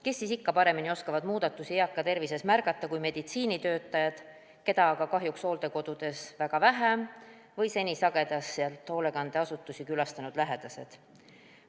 Kes siis ikka paremini oskavad eaka tervises muutusi märgata kui meditsiinitöötajad, keda aga hooldekodudes on kahjuks väga vähe, või seni hoolekandeasutusi sageli külastanud lähedased.